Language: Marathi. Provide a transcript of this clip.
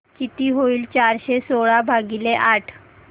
किती होईल चारशे सोळा भागीले आठ